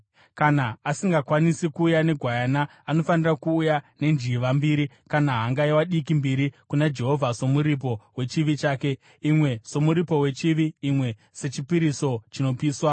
“ ‘Kana asingakwanisi kuuya negwayana anofanira kuuya nenjiva mbiri kana hangaiwa diki mbiri kuna Jehovha somuripo wechivi chake, imwe somuripo wechivi, imwe sechipiriso chinopiswa.